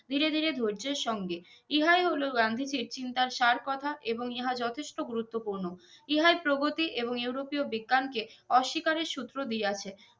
ধিরে ধিরে ধৈর্যের সঙ্গে ইহাই হলো গান্ধীজির চিন্তার সার কথা এবং ইহা যথেষ্ট গুরুতোপুর্ন ইহাই প্রগতি এবং ইউরোপিয় বিজ্ঞান কে অস্বীকারের সুত্র দিয়াছে